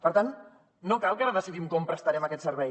per tant no cal que ara decidim com prestarem aquest servei